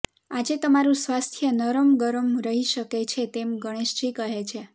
આજે તમારું સ્વાસ્થ્ય નરમગરમ રહી શકે છે તેમ ગણેશજી કહે છે